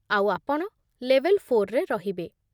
ଆଉ ଆପଣ ଲେଭେଲ୍ ଫୋର୍‌ରେ ରହିବେ